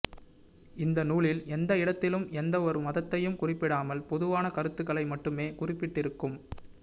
இந்த நூலில் எந்த இடத்திலும் எந்த ஒரு மதத்தையும் குறிப்பிடாமல் பொதுவான கருத்துக்களை மட்டுமே குறிப்பிட்டிருக்கும்